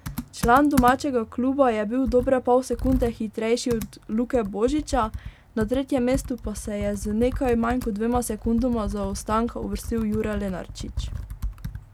Član domačega kluba je bil dobre pol sekunde hitrejši od Luke Božiča, na tretje mesto pa se je z nekaj manj kot dvema sekundama zaostanka uvrstil Jure Lenarčič.